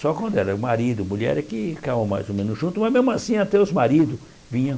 Só quando era marido e mulher é que ficavam mais ou menos juntos, mas mesmo assim até os maridos vinham.